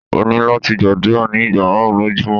O ni lati gbadura ni igba marun lojumọ